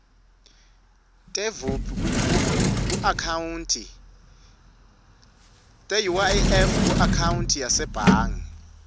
teuif kuakhawunti yasebhangi